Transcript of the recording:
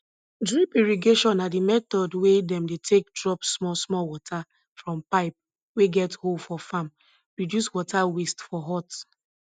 drip irrigation na di method wey dem dey take drop small small water from pipe wey get hole for farm reduce water waste for hot